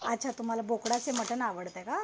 अच्छा तुम्हाल बोकडाचे मटन आवडत का?